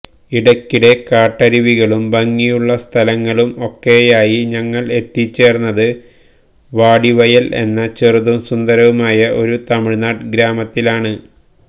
ഇടയ്ക്കിടെ കാട്ടരുവികളും ഭംഗിയുള്ള സ്ഥലങ്ങളും ഒക്കെയായി ഞങ്ങള് എത്തിച്ചേര്ന്നത് വാടിവയല് എന്ന ചെറുതും സുന്ദരവുമായ ഒരു തമിഴ്നാട് ഗ്രാമത്തില് ആണ്